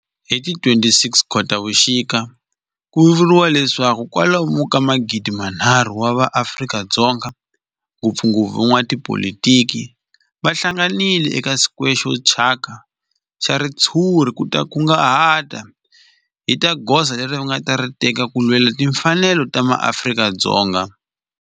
Hi ti 26 Khotavuxika ku vuriwa leswaku kwalomu ka magidinharhu wa vanhu va Afrika-Dzonga, ngopfungopfu van'watipolitiki va hlanganile eka square xo thyaka xa ritshuri ku ta kunguhata hi goza leri va nga ta ri teka ku lwela timfanelo ta maAfrika-Dzonga.